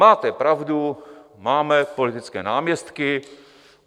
Máte pravdu, máme politické náměstky.